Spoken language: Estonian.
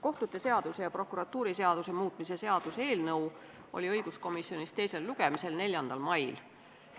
Kohtute seaduse ja prokuratuuriseaduse muutmise seaduse eelnõu oli õiguskomisjonis teisel lugemisel 4. mail.